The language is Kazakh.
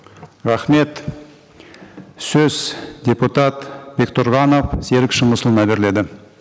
рахмет сөз депутат бектұрғанов серік шыңғысұлына беріледі